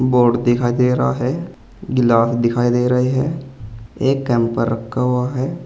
Board दिखाई दे रहा है गिलास दिखाई दे रहे हैं एक कैंपर रखा हुआ है।